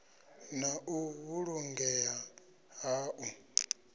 na u vhulungea ha u